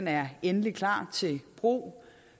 er endeligt klar til brug